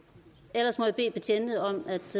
og ellers må jeg bede betjentene om at